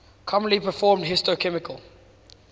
commonly performed histochemical